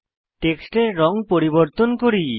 টেক্সটের রঙ পরিবর্তন করি